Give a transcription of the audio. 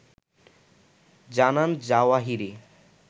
জানান জাওয়াহিরি